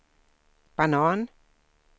banan